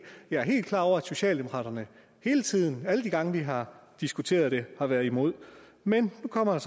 jeg er helt klar over at socialdemokraterne hele tiden alle de gange vi har diskuteret det har været imod men nu kommer der